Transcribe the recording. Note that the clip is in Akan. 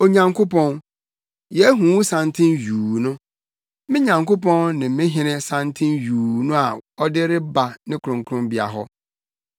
Onyankopɔn, yɛahu wo santen yuu no, me Nyankopɔn ne me Hene santen yuu no a ɔde reba ne kronkronbea hɔ.